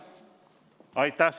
Aitäh!